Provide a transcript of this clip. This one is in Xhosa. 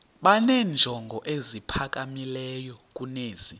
benenjongo eziphakamileyo kunezi